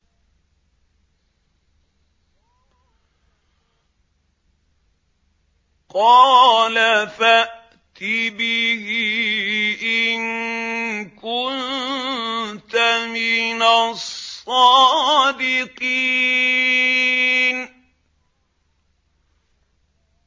قَالَ فَأْتِ بِهِ إِن كُنتَ مِنَ الصَّادِقِينَ